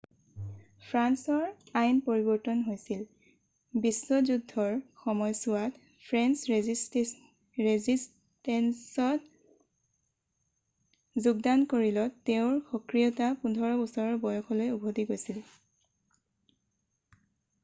ফ্ৰান্সৰ আইন পৰিবৰ্তন হৈছিল ii বিশ্ব যুদ্ধৰ সময়ছোৱাত ফ্ৰেন্স ৰেজিছষ্টেন্সত যোগদান কৰিলত তেওঁৰ সক্ৰিয়তা 15 বছৰ বয়সলৈ উভতি গৈছিল